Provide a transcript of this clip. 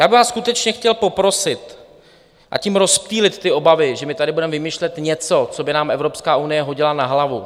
Já bych vás skutečně chtěl poprosit a tím rozptýlit ty obavy, že my tady budeme vymýšlet něco, co by nám Evropská unie hodila na hlavu.